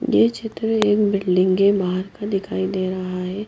यह चित्र एक बिल्डिंग के बाहर का दिखाई दे रहा है।